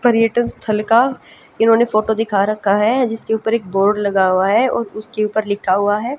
पर्यटन स्थल का इन्होंने फोटो दिखा रखा है जिसके ऊपर एक बोर्ड लगा हुआ है और उसके ऊपर लिखा हुआ है--